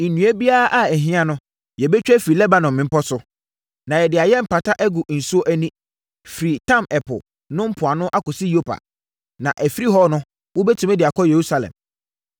Nnua biara a ɛho hia no, yɛbɛtwa afiri Lebanon mmepɔ so, na yɛde ayɛ mpata agu nsuo ani, firi Ntam Ɛpo no mpoano akɔsi Yopa. Na ɛfiri hɔ no, wobɛtumi de akɔ Yerusalem.”